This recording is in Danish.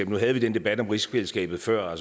nu havde vi den debat om rigsfællesskabet før